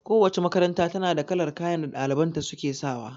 Kowace makaranta ta na da kalar kayan da ɗaliban ta su ke sawa